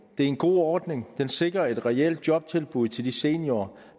en god ordning der sikrer et reelt jobtilbud til de seniorer